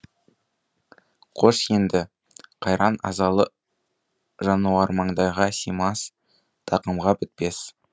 қош енді қайран азалы жануармаңдайға симас тақымға бітпес